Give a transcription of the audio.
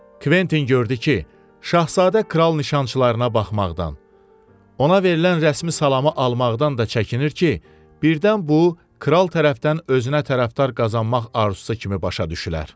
Kventin gördü ki, şahzadə kral nişançılarına baxmaqdan, ona verilən rəsmi salamı almaqdan da çəkinir ki, birdən bu kral tərəfdən özünə tərəfdar qazanmaq arzusu kimi başa düşülər.